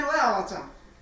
Mən o evə alacam.